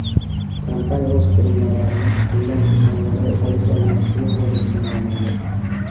Kompaniya o‘z qurilmalarini bundan himoyalay olish-olmasligi hozircha noma’lum.